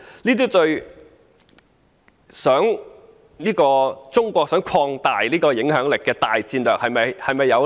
這對中國擴大影響力的大戰略是否有利呢？